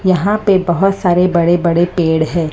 यहां पे बहोत सारे बड़े बड़े पेड़ हैं।